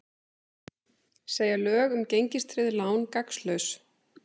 Segja lög um gengistryggð lán gagnslaus